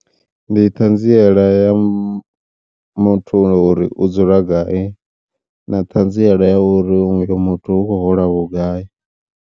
Ndi ṱhanziela ya mu muthu ngori u dzula gai na ṱhanziela ya uri uyu muthu u khou hola vhugai.